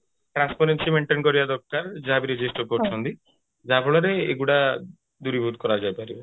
transparency maintain କରିବା ଦରକାର ଯାହା ବି register କରୁଛନ୍ତି ଯାହା ଫଳରେ ଏଇଗୁଡା ଦୂରୀଭୂତ କରାଯାଇପାରିବ